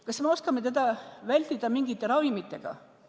Kas me oskame teda vältida mingite ravimitega?